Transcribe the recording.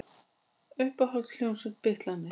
Uppáhalds hljómsveit: Bítlarnir